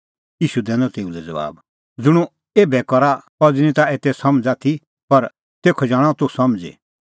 ईशू दैनअ तेऊ लै ज़बाब ज़ुंण हुंह एभै करा अज़ी निं ताह एते समझ़ आथी पर तेखअ जाणअ तूह समझ़ी